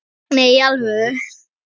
Nei, í alvöru.